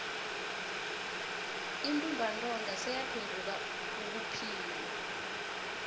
untumbantonga seyaphenduka ubuphilo